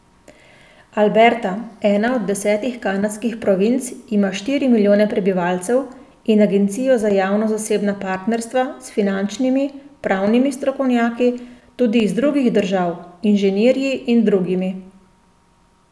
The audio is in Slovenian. Alberta, ena od desetih kanadskih provinc, ima štiri milijone prebivalcev in agencijo za javno zasebna partnerstva s finančnimi, pravnimi strokovnjaki, tudi iz drugih držav, inženirji in drugimi.